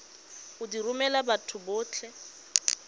go di romela batho botlhe